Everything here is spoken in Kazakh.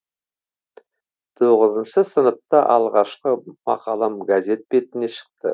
тоғызыншы сыныпта алғашкы мақалам газет бетіне шықты